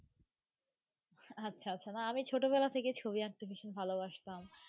আচ্ছা আচ্ছা না আমি ছোটবেলা থেকেই ছবি আঁকতে ভীষণ ভালোবাসতাম.